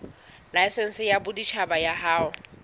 laesense ya boditjhaba ya ho